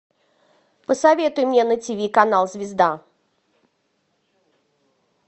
посоветуй мне на тв канал звезда